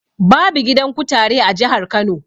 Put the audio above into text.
Babu. gidan kutare a jihar Kano.